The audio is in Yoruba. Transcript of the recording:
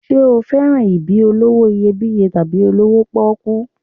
Ṣé o fẹ́ràn ibi olówó iyebíye tàbí olówó pọ́kú?